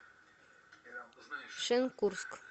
шенкурск